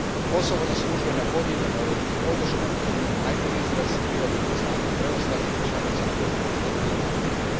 Kosovo zaslužuje nepodijeljenu europsku podršku, a njen najbolji izraz bilo bi priznanje preostalih članica koje to još nisu napravile.